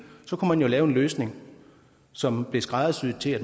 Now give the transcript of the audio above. kunne man jo lave en løsning som blev skræddersyet til at